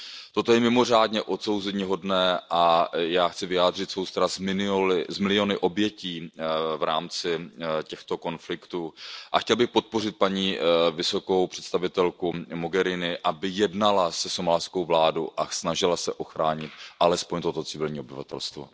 Toto je mimořádně odsouzeníhodné a já chci vyjádřit soustrast s miliony obětí v rámci těchto konfliktů a chtěl bych podpořit paní vysokou představitelku Mogheriniovou, aby jednala se somálskou vládou a snažila se ochránit alespoň to civilní obyvatelstvo.